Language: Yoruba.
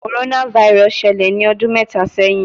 Coronavirus ṣẹlẹ ni ọdun mẹta sẹhin